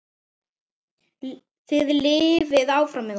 Þið lifið áfram með okkur.